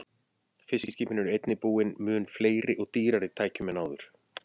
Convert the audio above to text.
Fiskiskipin eru einnig búin mun fleiri og dýrari tækjum en áður.